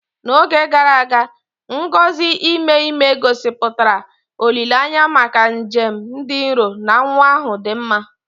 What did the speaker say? N'oge gara aga, ngọzi ime ime, gosipụtara olileanya maka njem dị nro na nwa ahụ dị mma.